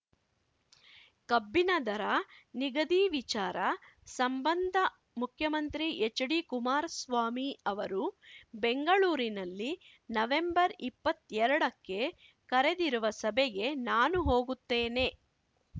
ಕಬ್ಬಿನ ದರ ನಿಗದಿ ವಿಚಾರ ಸಂಬಂಧ ಮುಖ್ಯಮಂತ್ರಿ ಎಚ್‌ಡಿಕುಮಾರಸ್ವಾಮಿ ಅವರು ಬೆಂಗಳೂರಿನಲ್ಲಿ ನವೆಂಬರ್ಇಪ್ಪತ್ತೆರಡಕ್ಕೆ ಕರೆದಿರುವ ಸಭೆಗೆ ನಾನು ಹೋಗುತ್ತೇನೆ